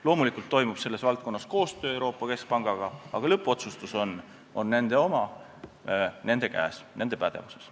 Loomulikult toimub selles valdkonnas Euroopa Keskpangaga koostöö, aga lõppotsus on nende oma, nende käes, nende pädevuses.